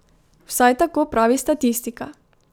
Vsaj tako pravi statistika.